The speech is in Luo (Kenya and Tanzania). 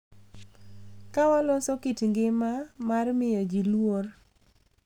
Ka waloso kit ngima mar miyo ji luor,